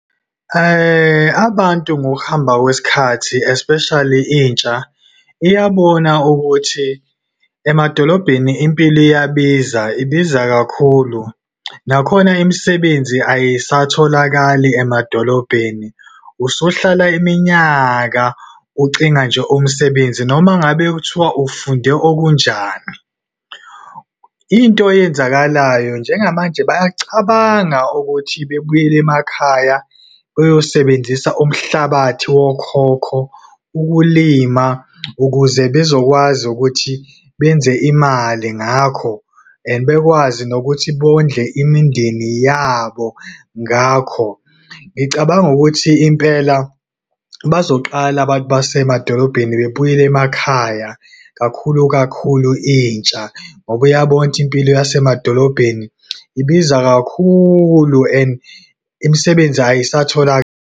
Abantu ngokuhamba kwesikhathi, especially intsha, iyabona ukuthi emadolobheni impilo iyabiza, ibiza kakhulu. Nakhona imisebenzi ayisatholakali emadolobheni. Usuhlala iminyaka ucinga nje umsebenzi, noma ngabe kuthiwa ufunde okunjani. Into eyenzakalayo, njengamanje bayacabanga ukuthi bebuyele emakhaya, beyosebenzisa umhlabathi wokhokho ukulima ukuze bezokwazi ukuthi benze imali ngakho, and bekwazi nokuthi bondle imindeni yabo, ngakho. Ngicabanga ukuthi impela bazoqala abantu basemadolobheni, bebuyele emakhaya, kakhulu kakhulu intsha, ngoba iyabona ukuthi impilo yasemadolobheni ibiza kakhulu and imisebenzi .